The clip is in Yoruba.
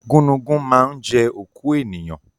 Gúnugún ma ń jẹ́ òkú ènìyàn